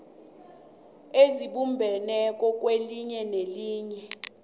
ezibumbeneko kwelinye nelinye